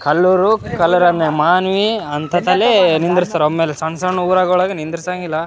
ಕಲ್ಲೂರು ಕಲರಮ್ಮೆ ಅಂಗೇ ಮಾನೀ ಅಂಕತಲೇ ನಿಂದ್ರಸ್ತಾರೆ ಒಮ್ಮೆಲೇ ಸಣ್ಣ ಸಣ್ಣ ಉರಂಗೆ ನಿಂದ್ರಿಸಂಗಿಲ್ಲ --